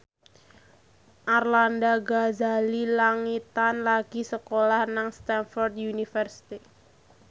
Arlanda Ghazali Langitan lagi sekolah nang Stamford University